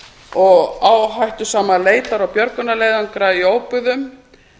og áhættusama leitar og björgunarleiðangra í óbyggðum